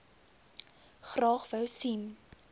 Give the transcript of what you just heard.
graag wou sien